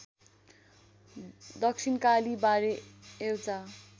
दक्षिणकालीबारे एउटा